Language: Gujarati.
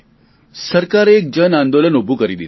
સરકારે એક જન આંદોલન ઊભું કરી દીધું